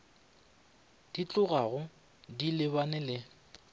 di tlogago di lebane le